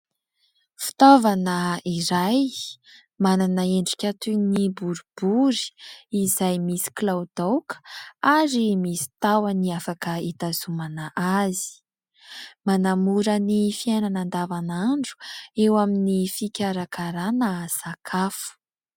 Fitaovana iray manana endrika toy ny borobory izay misy kilaodaoka ary misy tahony afaka hitazomana azy, manamora ny fiainana andavanandro eo amin'ny fikarakarana sakafo.